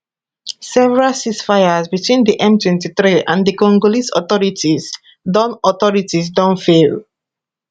several ceasefires between di m23 and di congolese authorities don authorities don fail